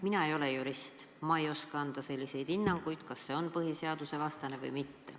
Mina ei ole jurist, ma ei oska anda hinnangut, kas see on põhiseadusvastane või mitte.